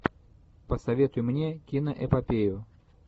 посоветуй мне киноэпопею